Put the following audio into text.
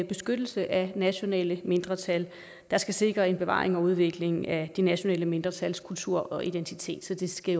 beskyttelse af nationale mindretal der skal sikre en bevaring og udvikling af de nationale mindretals kultur og identitet så det skal